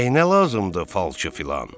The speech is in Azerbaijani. Nəyinə lazımdır falçı filan?